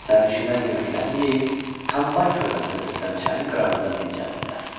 Sərnişinlər yeməklərini yeyib, Kambay körfəzinə tökülən çayın qırağında dincəldilər.